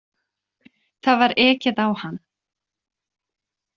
Það var ekið á hann